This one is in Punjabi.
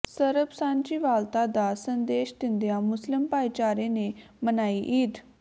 ਸਰਬ ਸਾਂਝੀਵਾਲਤਾ ਦਾ ਸੰਦੇਸ਼ ਦਿੰਦਿਆਂ ਮੁਸਲਿਮ ਭਾਈਚਾਰੇ ਨੇ ਮਨਾਈ ਈਦ